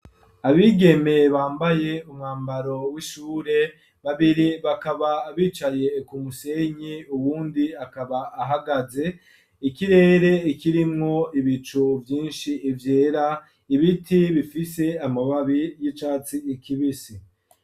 Abigeme bambaye umwambaro w'ishure babiri bakaba bicaye ku musenyi ,uwundi akaba ahagaze ikirere ikirimwo ibico byinshi vyera ibiti bifise amababi y'icatsi kibisi.